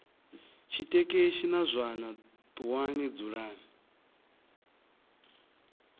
tshitekeshi na zwana ṱuwani dzulani